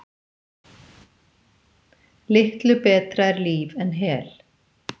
Litlu betra er líf en hel.